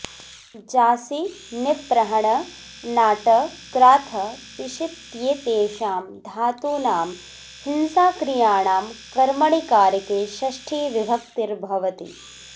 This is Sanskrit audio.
जासि निप्रहण नाट क्राथ पिषित्येतेषां धातूनां हिंसाक्रियाणां कर्मणि कारके षष्ठी विभक्तिर् भवति